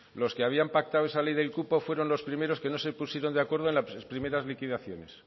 los que habían pactado esa ley del cupo fueron los primeros que no se pusieron de acuerdo en las primeras liquidaciones